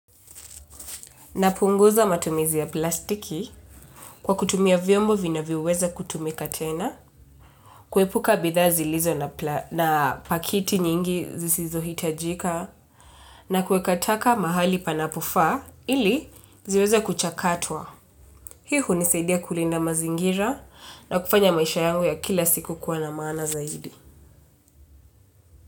Na punguza matumizi ya plastiki kwa kutumia vyombo vinavyoweza kutumika tena kuepuka bidhaa zilizo na pakiti nyingi zisizo hitajika na kuweka taka mahali panapofaa ili ziweze kuchakatwa. Hii hunisaidia kulinda mazingira na kufanya maisha yangu ya kila siku kuwa na maana zaidi.